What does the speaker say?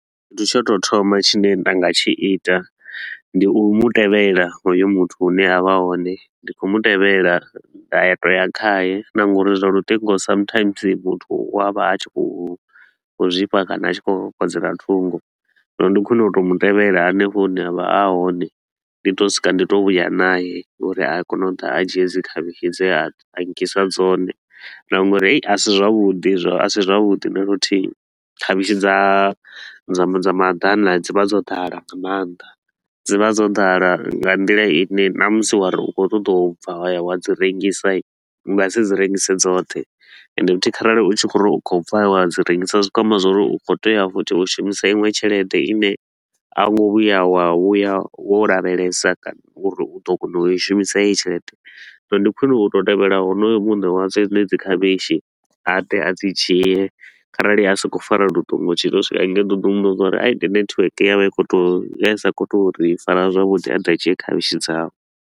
Tshithu tsha u tou thoma tshine nda nga tshi ita ndi u mu tevhela hoyo muthu hune a vha a hone, ndi kho mu tevhela nda ya to u ya khaye na nga uri zwa luṱingo sometimes musi muthu u a vha a tshi khou khou zwifha kana a tshi khou kokodzela ṱhungo. Zwino ndi khwine u to u mu tevhela hanefho hune a vha a hone, ndi to u swika ndi to u vhuya nae uri a kone u ḓa a dzhie i dzi khavhishi dze a nkisa dzone na ngOri a si zwavhuḓi a si zwavhudi na luthihi. Khavhishi dza dza dza madana dzi vha dzo ḓala nga maanḓa. Dzi vha dzo ḓala nga nḓila i ne ṋamusi wa ri u khou ṱoḓa u bva wa ya wa dzi rengisa hii, u nga si dzi rengise dzoṱhe. Ende futhi kharali u tshi khou ri u khou bva wa dzi rengisa, zwi khou amba zwa uri u khou tea futhi u shumisa iṅwe tshelede i ne a wo ngo vhuya wa vhuya wo lavhelesa kana uri u ḓo kona u i shumisa heyi tshelede. Zwino ndi khwine u to u tevhela honoyo muṋe wazwo dzenedzi khavhishi, a ḓe a dzi dzhie kharali a sa khou fara luṱingo, u tshi ḓo swika hangei u ḓo ḓi muvhudza zwa uri ai ndi network ya vha i kho to ya i sa khou to ri fara zwavhuḓi a ḓe a dzhie khavhishi dzawe.